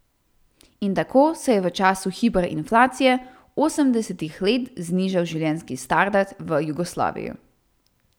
In tako se je v času hiperinflacije osemdesetih let znižal življenjski standard v Jugoslaviji.